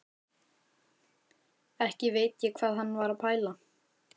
Ekki veit ég hvað hann var að pæla.